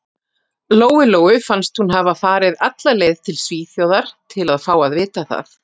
Lóu-Lóu fannst hún hafa farið alla leið til Svíþjóðar til að fá að vita það.